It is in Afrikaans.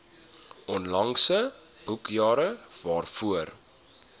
onlangse boekjare waarvoor